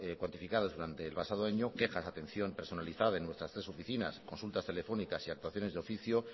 cuantificados durante el pasado año quejas de atención personalizada de nuestras tres oficinas consultas telefónicas y actuaciones de oficio